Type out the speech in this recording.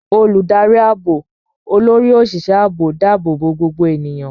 Olùdarí ààbò, Olórí Òṣìṣẹ́ Ààbò, dáàbò bo gbogbo ènìyàn.